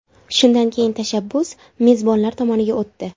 Shundan keyin tashabbus mezbonlar tomoniga o‘tdi.